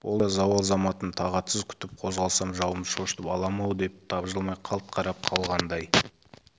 ол да зауал заматын тағатсыз күтіп қозғалсам жауымды шошытып аламын-ау деп тапжылмай қалт қарап қалғандай